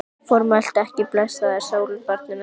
Formæltu ekki blessaðri sólinni, barnið mitt.